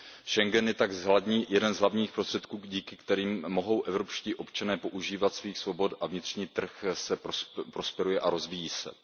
Schengen je tak jeden z hlavních prostředků, díky kterému mohou evropští občané požívat svých svobod a vnitřní trh prosperuje a rozvíjí se.